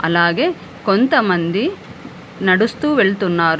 అలాగే కొంత మంది నడుస్తూ వెళ్తున్నారు.